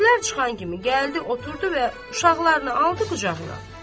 İşlər çıxan kimi gəldi oturdu və uşaqlarını aldı qucağına.